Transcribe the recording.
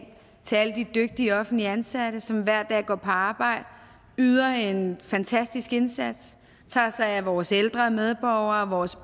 til alle de dygtige offentligt ansatte som hver dag går på arbejde yder en fantastisk indsats tager sig af vores ældre medborgere og vores